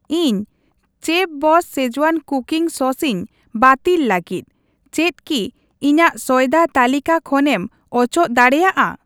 ᱤᱧ chef boss Schezwan cooking sauce ᱤᱧ bottle ᱞᱟᱹᱜᱤᱫ, ᱪᱮᱫ ᱠᱤ ᱤᱧᱟᱹᱜ ᱥᱚᱭᱫᱟ ᱛᱟᱹᱞᱤᱠᱟ ᱠᱷᱚᱱᱮᱢ ᱚᱪᱚᱜ ᱫᱟᱲᱮᱭᱟᱜᱼᱟ ?